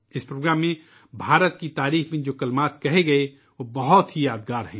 اس تقریب کے دوران بھارت کی تعریف میں جو کلمات کہے گئے وہ یقیناً یادگار ہیں